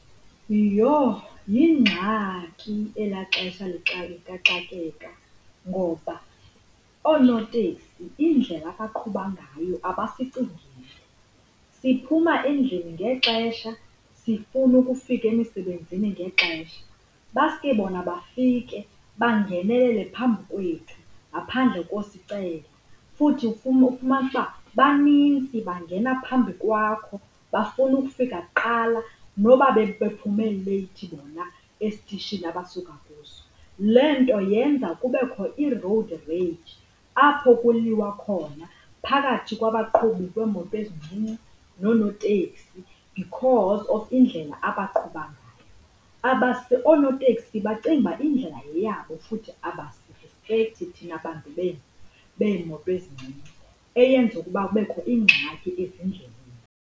Iyho, yingxaki ela xesha likaxakeka ngoba oonoteksi indlela abaqhuba ngayo abasicingeli, siphuma endlini ngexesha sifuna ukufika emisebenzini ngexesha, baske bona bafike bangenelele phambi kwethu ngaphandle kosicela. Futhi ufumanise uba banintsi bangena phambi kwakho, bafuna ukufika kuqala noba bephume leyithi bona esitishini abasuka kuso. Le nto yenza kube khona i-road range apho kuliwa khona phakathi kwabaqhubi beembono ezincinci noonoteksi because of indlela abaqhuba ngayo. Abase oonoteksi, bacinguba indlela yeyabo futhi abasirispekhthi thian bantu beemoto ezincinci eyenza ukuba kubekho iingxaki ezindleleni.